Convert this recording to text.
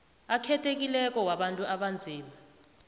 akhethekileko wabantu abanzima